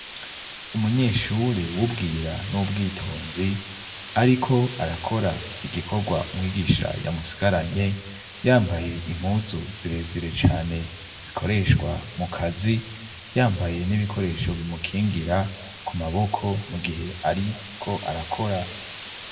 Umunyeshure w'ubwira n'ubwitonzi ariko arakora igikorwa umwigisha yamusigaranye yambaye impuzu zirezire cane zikoreshwa mu kazi yambaye n'ibikoresho bimukingira ku maboko mu gihe ariko arakora.